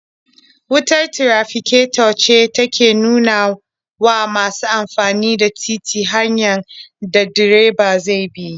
Wutar tirafiketo ce take nuna wa masu amfani da titi hanyar da direba zai bi.